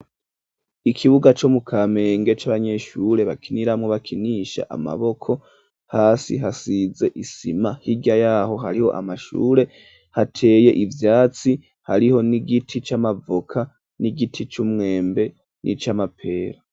Ikibuga co mukamenge c'abanyeshure bakiniramwo bakinisha amaboko hasi hasize isima hirya yaho hariho amashure hateye ivyatsi hariho n'igiti c'amavoka n'igiti c'umwembe n'ic'amapera.